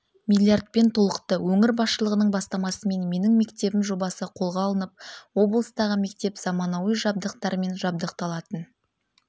миллиардпен толықты өңір басшылығының бастамасымен менің мектебім жобасы қолға алынып облыстағы мектеп заманауи жабдықтармен жабдықталатын